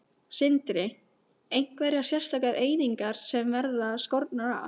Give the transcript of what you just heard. Sindri: Einhverjar sérstakar einingar sem verða skornar af?